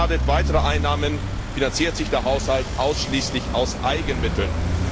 Unbeschadet weiterer Einnahmen finanziert sich der Haushalt ausschließlich aus Eigenmitteln.